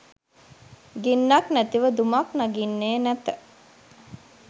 ගින්නක්‌ නැතිව දුමක්‌ නගින්නේ නැත